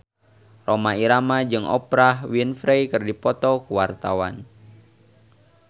Rhoma Irama jeung Oprah Winfrey keur dipoto ku wartawan